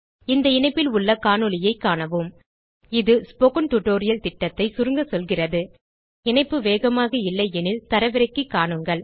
இந்த இணைப்பில் உள்ள காணொளியைக் காணவும் இது ஸ்போக்கன் டியூட்டோரியல் திட்டத்தைச் சுருங்க சொல்கிறது இணைப்பு வேகமாக இல்லை எனில் தரவிறக்கி காணுங்கள்